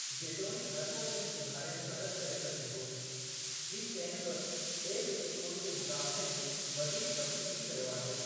जेतोणीक हर को इन जे सुधारे में मदद करे सघे थो, हीउ किंहिं बि बि॒ए विश्वकोश जे मुक़ाबले में वधीक वसीअ थी वियो आहे।